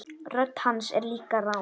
Rödd hans er líka rám.